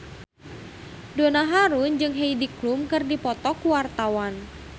Donna Harun jeung Heidi Klum keur dipoto ku wartawan